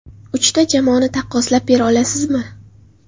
Uchta jamoani taqqoslab bera olasizmi?